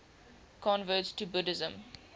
converts to buddhism